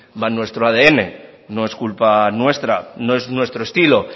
va en nuestro adn no es culpa nuestra no es nuestro estilo